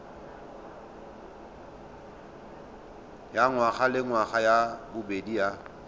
ya ngwagalengwaga ya bobedi ya